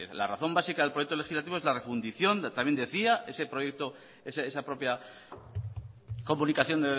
la razón básica del proyecto legislativo es la refundición también decía ese proyecto esa propia comunicación